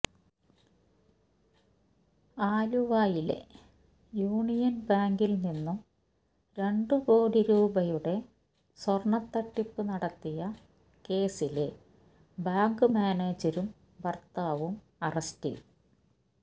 ആലുവയിലെ യൂണിയന് ബാങ്കില് നിന്നും രണ്ട് കോടി രൂപയുടെ സ്വര്ണ തട്ടിപ്പ് നടത്തിയ കേസില് ബാങ്ക് മാനേജരും ഭര്ത്താവും അറസ്റ്റില്